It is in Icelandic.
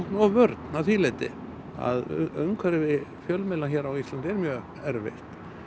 og vörn að því leyti umhverfi fjölmiðla hér á Íslandi er erfitt